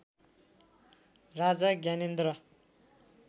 Raja Gyanendra